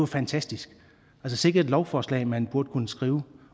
fantastisk sikke et lovforslag man burde kunne skrive